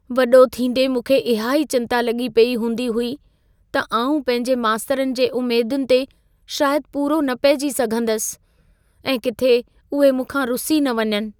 वॾो थींदे मूंखे इहा ई चिंता लॻी पेई हूंदी हुई, त आउं पंहिंजे मास्तरनि जी उमेदुनि ते शायदि पूरो न पहिजी सघंदसि ऐं किथे उहे मूंखां रुसी न वञनि।